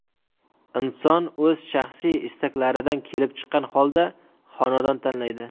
Inson o‘z shaxsiy istaklaridan kelib chiqqan holda xonadon tanlaydi.